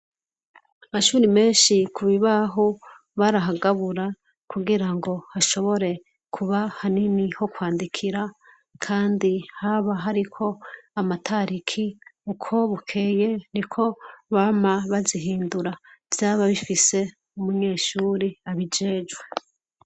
Amashuri menshi ku bibaho barahagabura kugirango hashobore kuba hanini ho kwandikira kandi haba hariko amatariki uko bukeye niko bama bazihindura vyaba bifise umunyeshuri abijejwe.